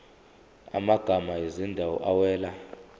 amagama ezindawo awela